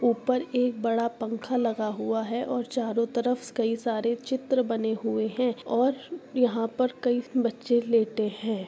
ऊपर एक बड़ा पंखा लगा हुआ है और चारों तरफ कई सारे चित्र बने हुए हैं और यहाँ पर कई बच्चे लेटे हैं।